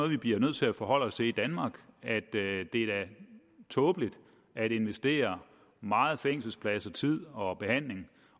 vi bliver nødt til at forholde os til i danmark det er da tåbeligt at investere meget fængselsplads tid og behandling